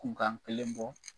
Kunkan kelen bɔ .